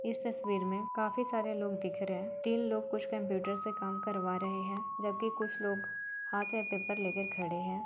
इस तस्वीर में काफी सारे लोग दिख रहे हैं। तीन लोग कुछ कंप्यूटर से काम करवा रहे हैं जब कि कुछ लोग हाथ में पेपर लेके खड़े हैं।